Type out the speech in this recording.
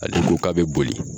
Ale ko k'a bɛ boli!